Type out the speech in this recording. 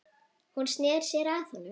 Hún sneri sér að honum.